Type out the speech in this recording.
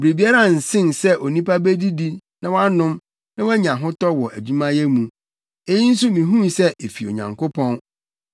Biribiara nsen sɛ onipa bedidi na wanom na wanya ahotɔ wɔ adwumayɛ mu. Eyi nso mihuu sɛ efi Onyankopɔn,